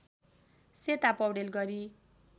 सेता पौडेल गरी